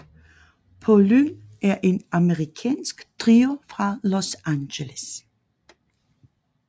Pollyn er en amerikansk trio fra Los Angeles